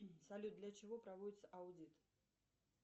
салют для чего проводится аудит